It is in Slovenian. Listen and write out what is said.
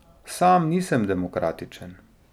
Sam nisem demokratičen.